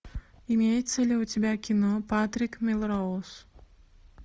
имеется ли у тебя кино патрик мелроуз